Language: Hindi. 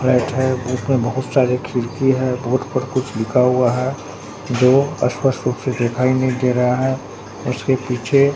फ्लैट हैं उसमें बहुत सारे खिड़की हैं बोर्ड पर कुछ लिखा हुआ हैं जो अस्पष्ट रूप से दिखाई नई दे रहा है उसके पीछे--